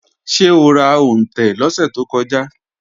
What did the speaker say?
Ṣé o ra òǹtẹ̀ lọ́sẹ̀ tó kọjá?